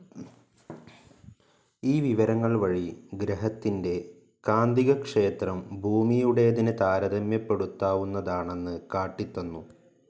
ഈ വിവരങ്ങൾ വഴി ഗ്രഹത്തിന്റെ കാന്തികക്ഷേത്രം ഭൂമിയുടേതിന്‌ താരതമ്യപ്പെടുത്താവുന്നതാണെന്ന് കാട്ടിത്തന്നു.